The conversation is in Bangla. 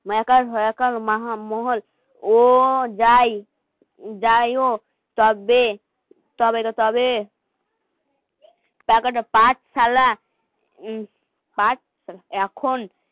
ও যাই. যাই হোক. তবে. তবে তো তবে পাঠশালা